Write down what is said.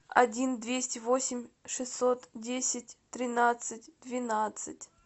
один двести восемь шестьсот десять тринадцать двенадцать